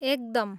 एकदम!